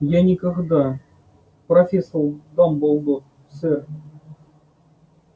я никогда профессор дамблдор сэр